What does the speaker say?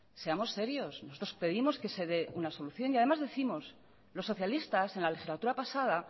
seamos serios nosotros pedimos que se dé una solución y además décimos los socialistas en la legislatura pasada